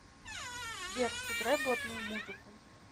сбер сыграй блатную музыку